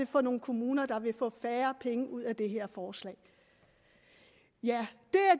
for nogle kommuner der vil få færre penge ud af det her forslag ja